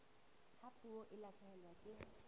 ha puo e lahlehelwa ke